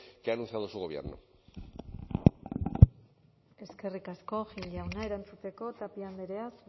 que ha anunciado su gobierno eskerrik asko gil jauna erantzuteko tapia andrea